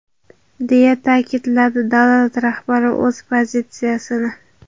deya ta’kidladi davlat rahbari o‘z pozitsiyasini.